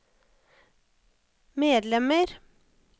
medlemmer